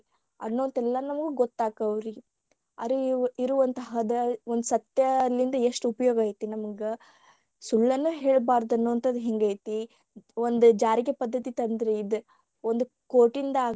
ಅನ್ನೋದ ಎಲ್ಲಾ ನಮಗ ಗೊತ್ತ ಆಕ್ಕವರಿ ಅರಿಯುವಂತಾದ ಒಂದ ಸತ್ಯಲಿಂದ ಎಸ್ಟ ಉಪಯೋಗ ಐತಿ ನಮಗ ಸುಳ್ಳನ್ನು ಹೇಳಬಾರದ ಅನ್ನೋಹಂತದು ಹಿಂಗ ಐತಿ ಒಂದ ಜಾರಿಗೆ ಪದ್ಧತಿ ಒಂದು ಕೋಟಿಂದಾಗ್ಲಿ.